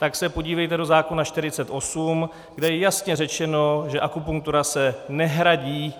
Tak se podívejte do zákona 48, kde je jasně řečeno, že akupunktura se nehradí.